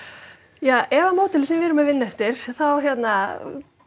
ja ef að módelið sem að við erum að vinna eftir þá hérna